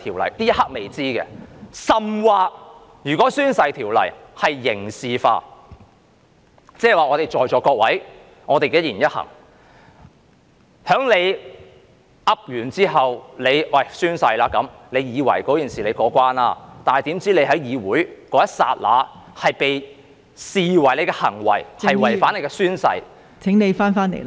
在這一刻仍未知道，甚或如果《條例》刑事化，即是說在座各位的一言一行，當大家宣誓後以為可以過關，豈料大家在議會的某一刻的行為被視為違反了誓言......